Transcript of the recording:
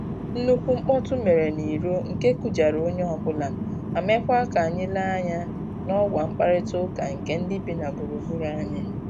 Nnukwu mkpọtụ mere n'iro nke kụjara onye ọbụla, ma mekwa k'anyị lenye anya n'ọwa mkparịta ụka nke ndị bi na gburugburu anyị